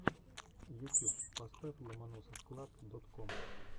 ютьюб поставь ломоносовклаб дот ком